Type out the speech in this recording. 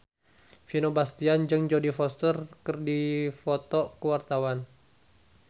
Vino Bastian jeung Jodie Foster keur dipoto ku wartawan